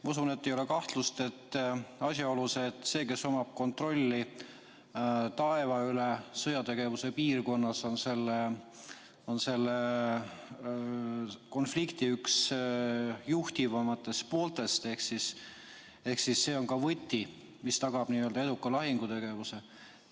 Ma usun, et ei ole kahtlust, et see, kes omab sõjategevuse piirkonnas kontrolli taeva üle, on selle konflikti üks juhtivamatest pooltest ehk siis see on võti, mis tagab eduka lahingutegevuse.